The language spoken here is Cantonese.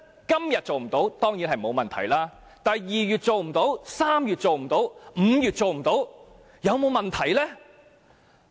今天做不到沒有問題，但2月做不到 ，3 月做不到 ，5 月做不到，有沒有問題？